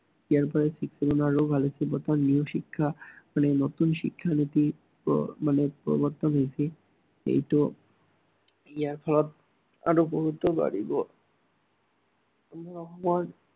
ভাল হৈছে অৰ্থাত new শিক্ষা নীতি, নতুন শিক্ষানীতি মানে প্ৰৱৰ্তন হৈছে। কিন্তু ইয়াৰ ফলত আৰু বহুতো